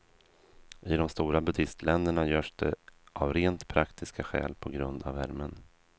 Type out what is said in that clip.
I de stora buddhistländerna görs det av rent praktiska skäl på grund av värmen.